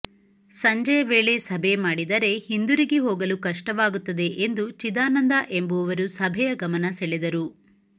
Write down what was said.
ಸಂಜೆಯ ವೇಳೆ ಸಭೆ ಮಾಡಿದರೆ ಹಿಂದಿರುಗಿ ಹೋಗಲು ಕಷ್ಟವಾಗುತ್ತದೆ ಎಂದು ಚಿದಾನಂದ ಎಂಬವರು ಸಭೆಯ ಗಮನ ಸೆಳೆದರು